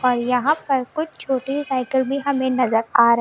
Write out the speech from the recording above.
और यहां पर कुछ छोटी साइकिल भी हमें नजर आ रही--